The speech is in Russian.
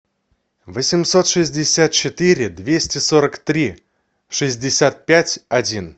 восемьсот шестьдесят четыре двести сорок три шестьдесят пять один